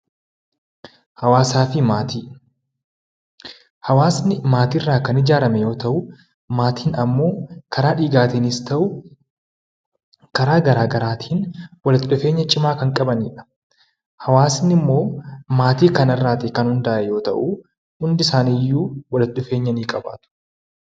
Hawaasaa fi maatii Hawaasni maatii irraa kan ijaarame yoo ta'u, maatiin immoo karaa dhiigaatiinis haa ta'uu, walitti dhufeenya cimaa kan qabanidha. Hawaasni immoo maatii kana irraa kan hundaa'e yemmuu ta'u, hundi isaanii iyyuu walitti dhufeenya ni qabaatu.